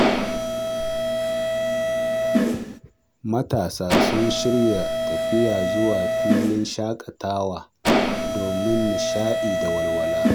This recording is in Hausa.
Matasa sun shirya tafiya zuwa filin shakatawa domin nishaɗi da walwala.